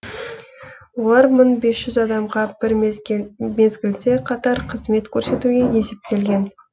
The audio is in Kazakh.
олар мың бес жүз адамға бір мезгілде қатар қызмет көрсетуге есептелген